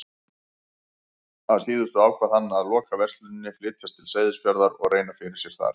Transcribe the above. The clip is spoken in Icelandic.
Að síðustu ákvað hann að loka versluninni, flytjast til Seyðisfjarðar og reyna fyrir sér þar.